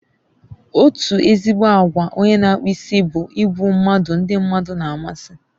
Otu ezigbo àgwà onye n'akpụ isi bụ ịbụ mmadụ ndi mmadụ na amasị